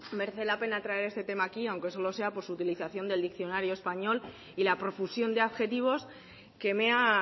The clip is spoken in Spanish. merece la pena traer este tema aquí aunque solo sea por su utilización del diccionario español y la profusión de adjetivos que me ha